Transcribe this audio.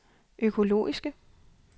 økologiske